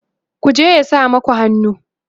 ku je ya sa maku hannu!